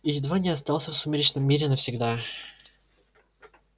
и едва не остался в сумеречном мире навсегда